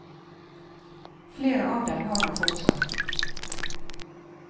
Flere av dem har han fortsatt.